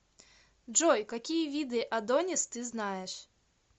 джой какие виды адонис ты знаешь